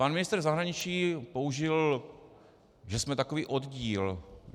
Pan ministr zahraničí použil, že jsme takový oddíl.